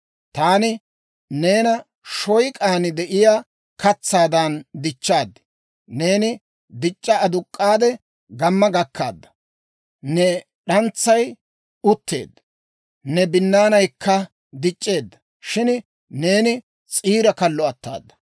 Taani neena shoyk'an de'iyaa katsaadan dichchaad. Neeni dic'c'a aduk'k'aade, gamma gakkaadda. Ne d'antsay utteedda; ne binnaanaykka dic'c'eedda; shin neeni s'iira kallo attada.